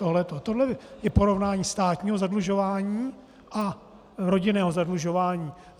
Tohle je porovnání státního zadlužování a rodinného zadlužování.